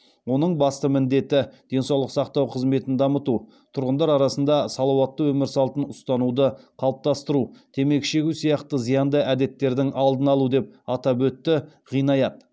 оның басты міндеті денсаулық сақтау қызметін дамыту тұрғындар арасында салауатты өмір салтын ұстануды қалыптастыру темекі шегу сияқты зиянды әдеттердің алдын алу деп атап өтті ғинаят